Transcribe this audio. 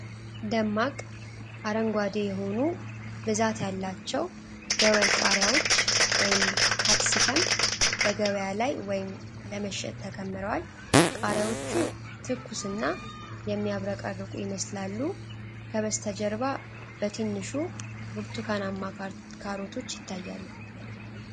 ደማቅ አረንጓዴ የሆኑ፣ ብዛት ያላቸው ደወል ቃሪያዎች (ካፕሲከም) በገበያ ላይ ወይም ለመሸጥ ተከምረዋል። ቃሪያዎቹ ትኩስና የሚያብረቀርቁ ይመስላሉ። ከበስተጀርባ በትንሹ ብርቱካናማ ካሮቶች ይታያሉ።